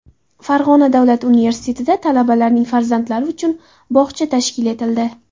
Farg‘ona davlat universitetida talabalarning farzandlari uchun bog‘cha tashkil etildi.